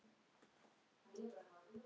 Elstu hraun